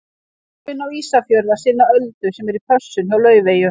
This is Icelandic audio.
Ég þarf inn á Ísafjörð að sinna Öldu sem er í pössun hjá Laufeyju.